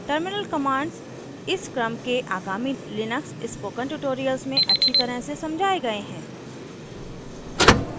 terminal commands इस क्रम के आगामी लिनक्स spoken tutorials में अच्छी तरह से समझाए गए हैं